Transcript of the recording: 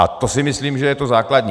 A to si myslím, že je to základní.